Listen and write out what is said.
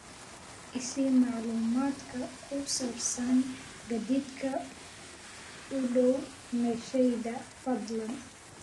i sii macluumaadka ku saabsan gaadiidka u dhow meeshayda fadlan